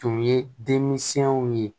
Tun ye denmisɛnw ye